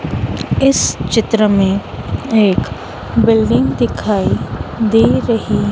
इस चित्र में एक बिल्डिंग दिखाई दे रही।